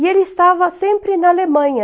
E ele estava sempre na Alemanha,